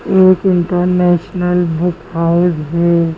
एक international book house है।